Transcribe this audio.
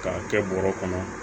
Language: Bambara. K'a kɛ bɔrɛ kɔnɔ